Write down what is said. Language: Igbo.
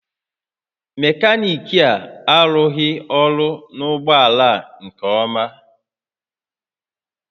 Mekaniki a arụghị ọrụ na ụgbọ ala a nke ọma